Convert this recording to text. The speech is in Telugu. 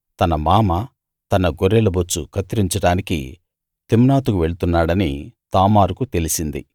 తన మామ తన గొర్రెల బొచ్చు కత్తిరించడానికి తిమ్నాతుకు వెళ్తున్నాడని తామారుకు తెలిసింది